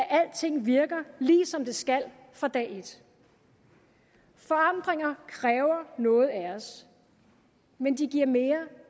alting virker som det skal fra dag et forandringer kræver noget af os men de giver mere